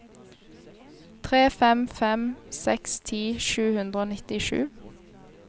tre fem fem seks ti sju hundre og nittisju